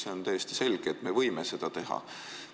See on täiesti selge, et me võime seda teha.